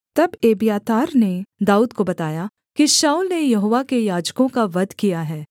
तब एब्यातार ने दाऊद को बताया कि शाऊल ने यहोवा के याजकों का वध किया है